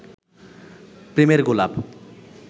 প্রেমের গোলাপ